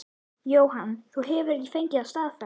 Jóhann: Þú hefur ekki fengið það staðfest?